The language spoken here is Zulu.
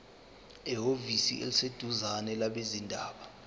ehhovisi eliseduzane labezindaba